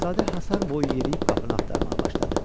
Şahzadə həsar boyu yeriyib qapını axtarmağa başladı.